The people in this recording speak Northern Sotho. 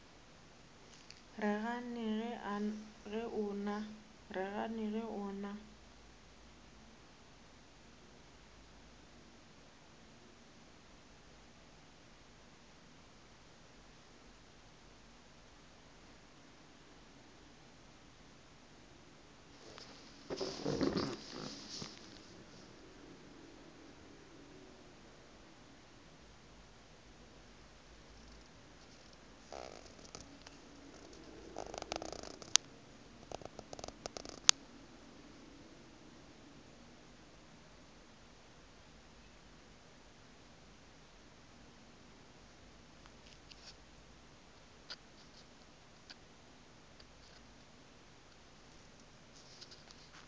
re gane ge o na